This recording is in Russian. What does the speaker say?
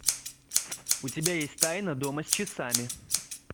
у тебя есть тайна дома с часами